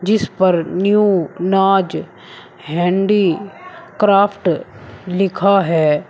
जिस पर new Naaz handicraft लिखा है।